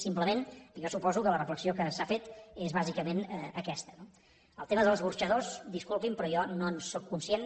simplement jo suposo que la reflexió que s’ha fet és bàsicament aquesta no del tema dels escorxadors disculpi’m però jo no en sóc conscient